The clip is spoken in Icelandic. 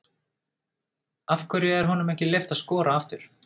Af hverju er honum ekki leyft að skora aftur?